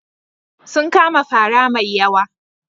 Sun kama fara mai yawa.